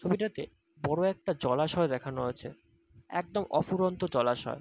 ছবিটাতে বড় একটা জলাশয় দেখানো আছে। একদম অফুরন্ত জলাশয়।